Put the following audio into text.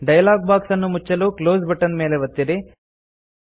dialog box ಅನ್ನು ಮುಚ್ಚಲು close button ಮೇಲೆ ಒತ್ತಿರಿ